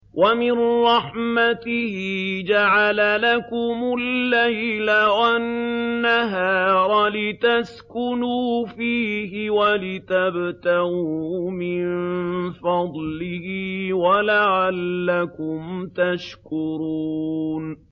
وَمِن رَّحْمَتِهِ جَعَلَ لَكُمُ اللَّيْلَ وَالنَّهَارَ لِتَسْكُنُوا فِيهِ وَلِتَبْتَغُوا مِن فَضْلِهِ وَلَعَلَّكُمْ تَشْكُرُونَ